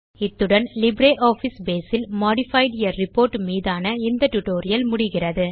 இத்துடன் LibreOffice Base இல் modifying a report மீதான இந்த ஸ்போக்கன் டியூட்டோரியல் முடிகிறது